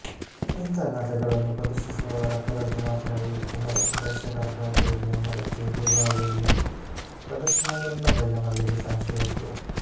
ಇಂಥ ನಾಟಕಗಳನ್ನು ಪ್ರದರ್ಶಿಸುವವರ ಕೊರತೆ ಮಾತ್ರವೇ ಇತ್ತು ಹೊರತು ಪ್ರೇಕ್ಷಕರ ಕೊರತೆ ಇಲ್ಲ ಎಂಬುದಕ್ಕೆ ದುಬಾಯಿಯಲ್ಲಿ ಪ್ರದರ್ಶನಗೊಂಡ ಬಯ್ಯಮಲ್ಲಿಗೆ ಸಾಕ್ಷಿಯಾಯಿತು